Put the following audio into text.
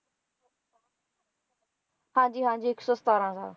ਹਾਂ ਜੀ ਹਾਂ ਜੀ ਇੱਕ ਸੌ ਸਤਾਰਾਂ ਸਾਲ